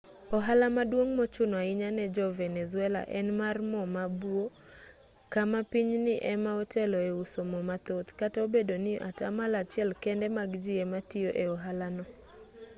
ohala maduong' mochuno ahinya ne jo-venezuela en mar mo ma buo kama pinyni ema otelo e uso mo mathoth kata obedo ni atamalo achiel kende mag ji ema tiyo e ohala no